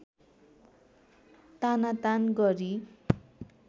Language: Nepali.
तानातान गरी